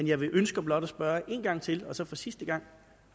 jeg ønsker blot at spørge en gang til og så for sidste gang